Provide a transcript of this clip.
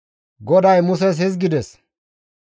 GODAY Muses hizgides,